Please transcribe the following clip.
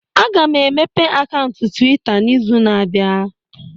Aga m emepe akaụntụ Twitta n'izu na-abịa.